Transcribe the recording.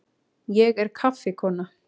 Ég er kaffikona.